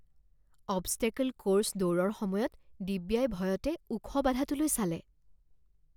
Obstacle course দৌৰৰ সময়ত দিব্যাই ভয়তে ওখ বাধাটোলৈ চালে।